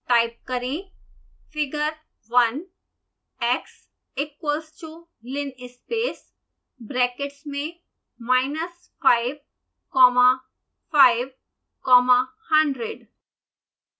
type करें